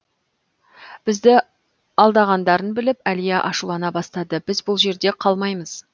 бізді алдағандарын біліп әлия ашулана бастады біз бұл жерде қалмаймыз